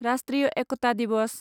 राष्ट्रीय एकता दिवस